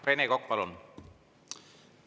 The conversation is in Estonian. Rene Kokk, palun!